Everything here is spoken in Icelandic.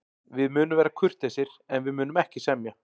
Við munum vera kurteisir, en við munum ekki semja.